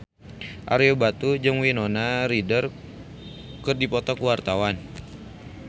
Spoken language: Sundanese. Ario Batu jeung Winona Ryder keur dipoto ku wartawan